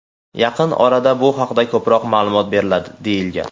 Yaqin orada bu haqda ko‘proq ma’lumot beriladi”, deyilgan.